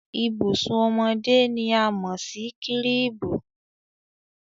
Ìbùsùn ọmọdé ni a mọ̀ sí kírìbù.